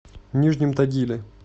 нижнем тагиле